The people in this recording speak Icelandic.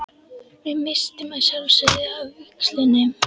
Við misstum að sjálfsögðu af vígslunni.